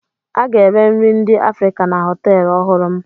A ga-ere nri ndị Afrịka na họtelụ ọhụrụ m.